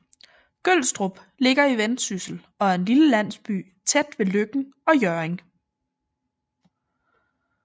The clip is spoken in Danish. Gølstrup ligger i Vendsyssel og er en lille landsby tæt ved Løkken og Hjørring